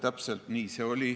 Täpselt nii see oli.